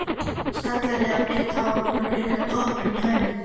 Skallar eða bleikt hár voru greinilega toppurinn hjá henni.